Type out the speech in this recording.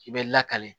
I bɛ lakale